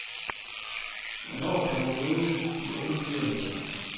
Hvornår kan man møde de unge lyrikere?